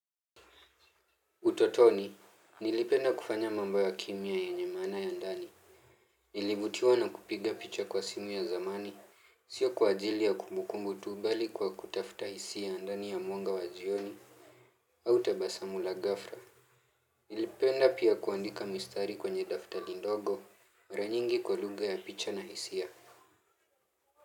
Utotoni, nilipenda kufanya mambo ya kimya yenye maana ya ndani. Nilivutiwa na kupiga picha kwa simu ya zamani, sio kwa ajili ya kumukumbu tu bali kwa kutafuta hisia ndani ya mwanga wa jioni, au tabasamu la ghafla. Nilipenda pia kuandika mistari kwenye daftali ndogo, mara nyingi kwa lugha ya picha na hisia.